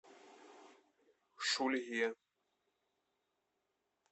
шульге